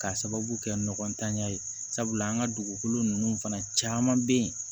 K'a sababu kɛ nɔgɔ tanya ye sabula an ka dugukolo ninnu fana caman bɛ yen